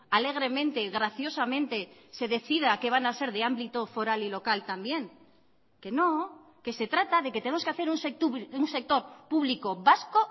alegremente graciosamente se decida que van a ser de ámbito foral y local también que no que se trata de que tenemos que hacer un sector público vasco